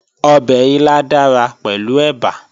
Ọbẹ̀ ilá dára pẹ̀lú ẹ̀bà